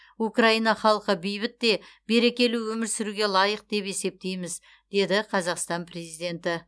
украина халқы бейбіт те берекелі өмір сүруге лайық деп есептейміз деді қазақстан президенті